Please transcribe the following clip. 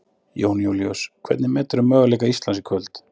Jón Júlíus: Hvernig meturðu möguleika Íslands í kvöld?